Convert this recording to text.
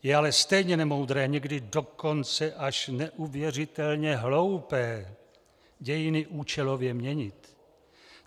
Je ale stejně nemoudré, někdy dokonce až neuvěřitelně hloupé dějiny účelově měnit.